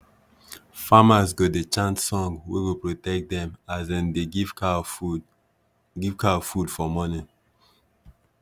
famers go dey chant song wey go protect them as dem dey give cow food give cow food for morning